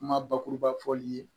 Kuma bakuruba fɔli ye